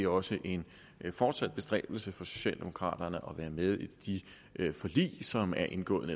også en fortsat bestræbelse for socialdemokraterne at være med i de forlig som er indgået